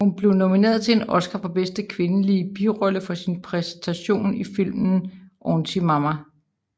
Hun blev nomineret til en Oscar for bedste kvindelige birolle for sin præstation i filmen Auntie Mame